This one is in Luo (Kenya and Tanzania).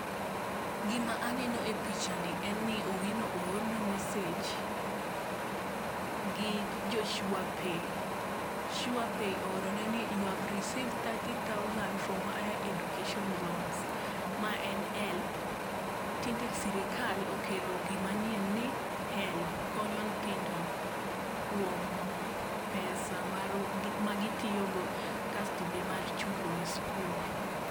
Gima aneno e picha ni en ni Owino oorne message gi jo sure pay sure pay oorone ni you have received thirty from higher education loans ma en help tinde sirikal okelo gima nyien ni helb konyo nyithindo kuom pesa mar ma gitiyo go kasto be mar chulo e skul.